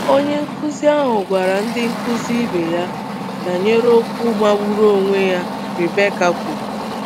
Onye nkụzi ahụ gwara ndị nkụzi ibe ya um banyere okwu magburu onwe ya Rebekka kwuru.